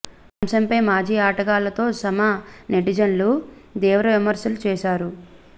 ఈ అంశంపై మాజీ ఆటగాళ్లతో సమా నెటిజన్లు తీవ్ర విమర్శలు చేశాఉ